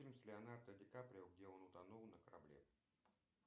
фильм с леонардо ди каприо где он утонул на корабле